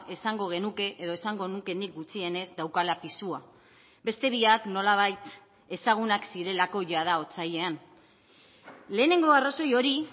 esango genuke edo esango nuke nik gutxienez daukala pisua beste biak nolabait ezagunak zirelako jada otsailean lehenengo arrazoi hori